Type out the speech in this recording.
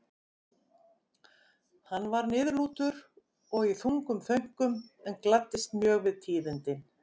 Hann var niðurlútur og í þungum þönkum en gladdist mjög við tíðindin.